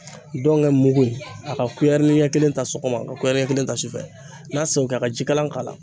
Dɔngɛ mugu a ka kuyɛrini ɲɛkelen ta sɔgɔma ka kuyɛrini ɲɛkelen ta su fɛ n'a se ko kɛ a ka jikalan k'a la